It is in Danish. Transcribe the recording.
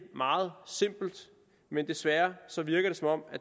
meget simpelt men desværre virker det som om